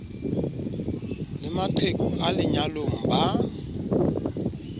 le maqheku a lenyalong ba